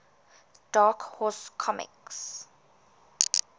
dark horse comics